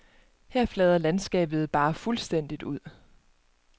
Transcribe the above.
Her flader landskabet bare fuldstændigt ud.